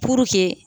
Puruke